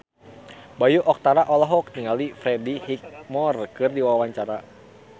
Bayu Octara olohok ningali Freddie Highmore keur diwawancara